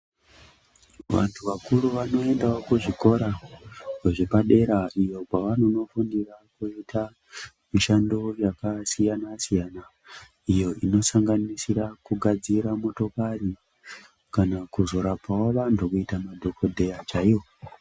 Vantu vakuru vanoendawo kuzvikora zvepadera iyo kwavanonofundira kuita mishando yakasiyana-siyana, iyo inosanganisira kugadzira motokari kana kuzorapawo vantu kuita madhokodheya chaiwo.